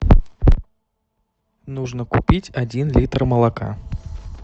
нужно купить один литр молока